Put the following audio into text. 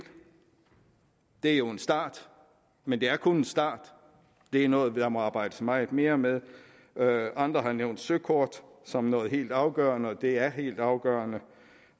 det er jo en start men det er kun en start det er noget der må arbejdes meget mere med andre har nævnt søkort som noget helt afgørende og det er helt afgørende